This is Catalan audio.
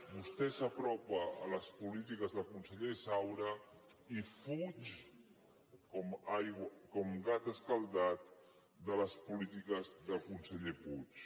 vostè s’apropa a les polítiques del conseller saura i fuig com gat escaldat de les polítiques del conseller puig